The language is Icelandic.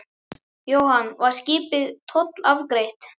Jóhann: Var skipið tollafgreitt?